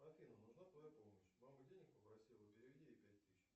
афина нужна твоя помощь мама денег попросила переведи ей пять тысяч